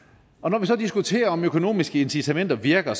når vi så diskuterer om økonomiske incitamenter virker